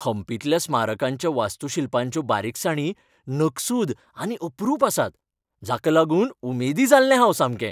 हम्पींतल्या स्मारकांच्या वास्तुशिल्पांच्यो बारिकसाणी नकसूद आनी अपरूप आसात, जाका लागून उमेदी जाल्लें हांव सामकें.